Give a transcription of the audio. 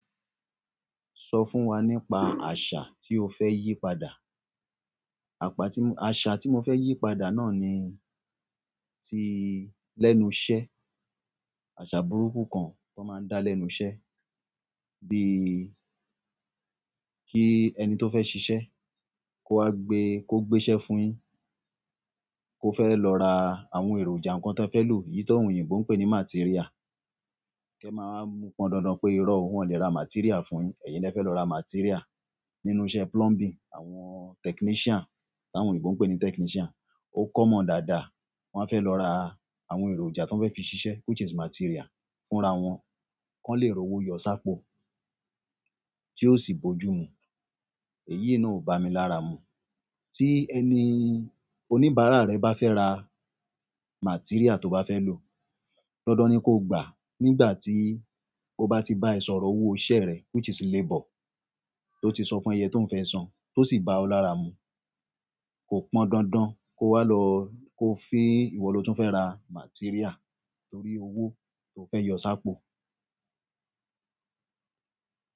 Sọ fún wa nípa àṣà tí o fẹ́ yí padà. Àpá tí m-- àṣà tí mo fẹ́ yí padà náà ni tí lẹ́nu iṣẹ́. Àṣà burúkú kan tó máa ń dá lẹ́nu iṣẹ́. Bí i kí ẹni tó fẹ́ ṣiṣẹ́ kó wá gbe-- kó gbé iṣẹ́ fún un, kó fẹ́ lọ ra àwọn èròjà kan tó fẹ́ lò. Èyí tó òyìnbó ń pè ní materia. Kẹ́ màá mu pọn dandan pé irọ́ wọn lè ra materia fún un. Ẹ̀yin ni ẹ fẹ́ lọ ra materia. Nínú iṣẹ́ plumbing, àwọn technician, táwọn òyìnbó ń pè ní technician, ó kọ́ mọ̀ dáadáa. Wọ́n á fẹ́ lọ ra àwọn èròjà tó fẹ́ fi ṣiṣẹ́ which is materia fún ra wọn kó lè ro owó yọ sáápo tí ó sì bójú mu. Èyí náà ò bá mi lára mu. Tí ẹni oníbàárà rẹ bá fẹ́ ra materia tó bá fẹ́ lò, dandan ni kó gbà nígbà tí ó bá ti bá ẹ sọ̀rọ̀ owó iṣẹ́ rẹ̀ which is labor tó ti sọ fún ẹ yẹn tó ń fẹ́ san tó sì bá ọ lára mu. Kò pọn dandan kó wá lọ-- kó fi ìwọ lo tún fẹ́ ra materia torí owó tó fẹ́ yọ sáápo.